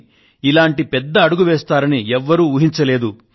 కానీ ఇలాంటి పెద్ద అడుగు వేస్తారని ఎవరూ ఊహించలేదు